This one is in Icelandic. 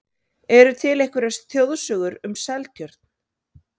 Eru til einhverjar þjóðsögur um Seltjörn?